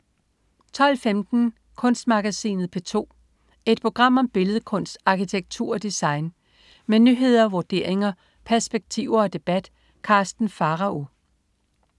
12.15 Kunstmagasinet P2. Et program om billedkunst, arkitektur og design. Med nyheder, vurderinger, perspektiver og debat. Karsten Pharao